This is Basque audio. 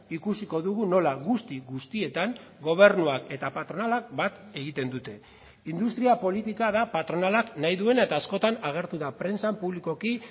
ikusiko dugu nola guzti guztietan gobernuak eta patronalak bat egiten dute industria politika da patronalak nahi duena eta askotan agertu da prentsan publikoki